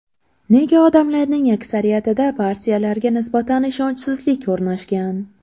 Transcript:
Nega odamlarning aksariyatida partiyalarga nisbatan ishonchsizlik o‘rnashgan?